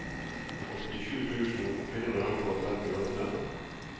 åttisju tusen fire hundre og trettiåtte